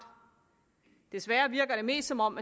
desværre virker det mest som om